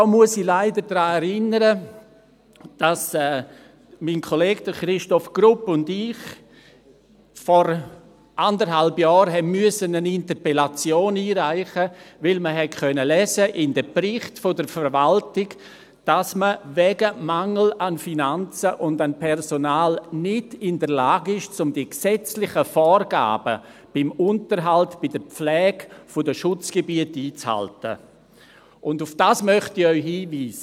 Dabei muss ich leider daran erinnern, dass mein Kollege Christoph Grupp und ich vor eineinhalb Jahren eine Interpellation einreichen mussten, weil wir in den Berichten der Verwaltung lesen konnten, dass man wegen eines Mangels an Finanzen und an Personal nicht in der Lage ist, die gesetzlichen Vorgaben beim Unterhalt und bei der Pflege der Schutzgebiete einzuhalten, und darauf möchte ich Sie hinweisen.